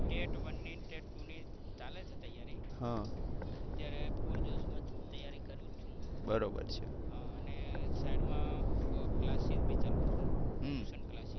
Tat one ની Tat two ની ચાલે છે તૈયારી. અત્યારે ફુલ જોશ માં તૈયારી કરું છું. હા ને સાઇડ માં અ classes બી ચલવું છું tuition classes